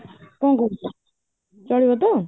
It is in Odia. କଣ କହୁଛ, ଚାଲିବ ତ?